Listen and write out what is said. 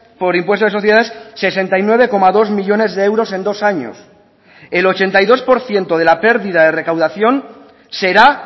por impuesto de sociedades sesenta y nueve coma dos millónes de euros en dos años el ochenta y dos por ciento de la pérdida de recaudación será